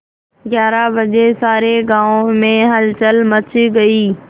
ग्यारह बजे सारे गाँव में हलचल मच गई